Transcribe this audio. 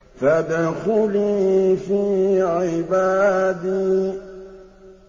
فَادْخُلِي فِي عِبَادِي